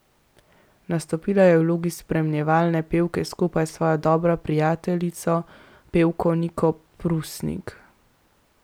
Nastopila je v vlogi spremljevalne pevke skupaj s svojo dobro prijateljico, pevko Niko Prusnik.